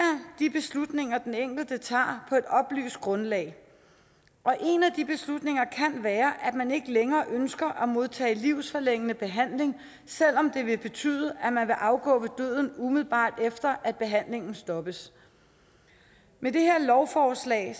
de beslutninger den enkelte tager på et oplyst grundlag en af de beslutninger kan være at man ikke længere ønsker at modtage livsforlængende behandling selv om det vil betyde at man vil afgå ved døden umiddelbart efter at behandlingen stoppes med det her lovforslag